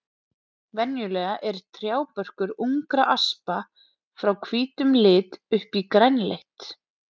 Venjulega er trjábörkur ungra aspa frá hvítum lit upp í grænleitt.